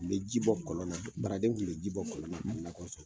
Kun be ji bɔ kɔlɔn na, baraden kun be ji bɔ kɔlɔn na ka nakɔ sɔn.